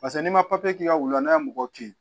Paseke n'i ma k'i ka wulu n'a ye mɔgɔw to yen